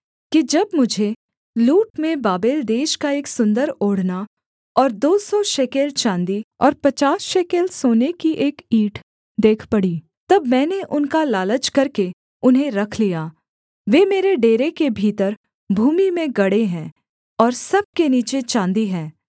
कि जब मुझे लूट में बाबेल देश का एक सुन्दर ओढ़ना और दो सौ शेकेल चाँदी और पचास शेकेल सोने की एक ईंट देख पड़ी तब मैंने उनका लालच करके उन्हें रख लिया वे मेरे डेरे के भीतर भूमि में गड़े हैं और सब के नीचे चाँदी है